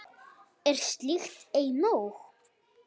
Er slíkt ei nóg?